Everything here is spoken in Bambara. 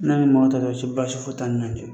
N'a ni mɔgɔ min ta tɔ don so, baasi foyi tan ni ɲɔncɛ.